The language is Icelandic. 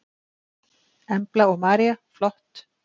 Embla og María: Flott.